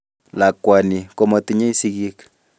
Lakwani komotinyei sigik